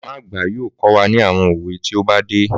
Màmá àgbà yoo kọ́ àwọn òwe tí ó bá dé.